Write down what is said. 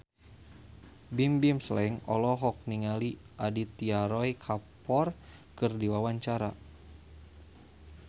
Bimbim Slank olohok ningali Aditya Roy Kapoor keur diwawancara